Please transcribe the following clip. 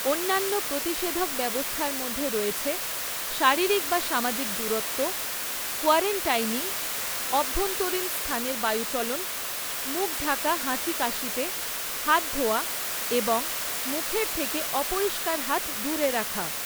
অন্যান্য প্রতিষেধক ব্যবস্থার মধ্যে রয়েছে শারীরিক বা সামাজিক দূরত্ব, কোয়ারেন্টাইনিং, অভ্যন্তরীণ স্থানের বায়ুচলন, মুখ ঢাকা হাঁচি কাশিতে, হাত ধোয়া এবং মুখের থেকে অপরিষ্কার হাত দূরে রাখা।